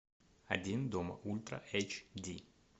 один дома ультра эйч ди